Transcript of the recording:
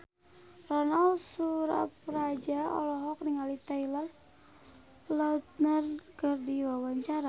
Ronal Surapradja olohok ningali Taylor Lautner keur diwawancara